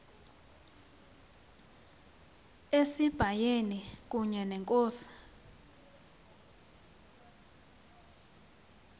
esibayeni kunye nenkosi